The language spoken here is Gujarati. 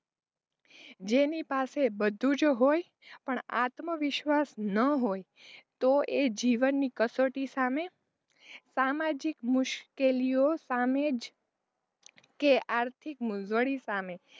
જેની પાસે બધું જ હોય પણ આત્મવિશ્વાસ ન હોય તો એ જીવનની કસોટી સામે સામાજિક મુશ્કેલીઑ સામે કે આર્થિક મોઘવાળી સામે,